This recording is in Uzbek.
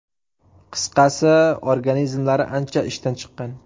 Qisqasi, organizmlari ancha ishdan chiqqan.